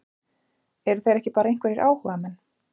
Eru þeir ekki bara einhverjir áhugamenn?